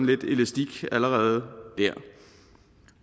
lidt elastik allerede